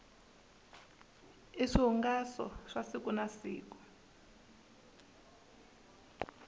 i swihungaso swa siku na siku